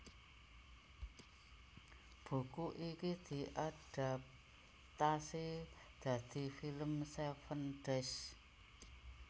Buku iki diadaptasi dadi film Seven Days